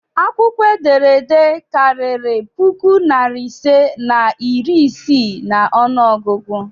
Akwukwo ederede kariri puku nari ise na iri ise n'onu ogugu?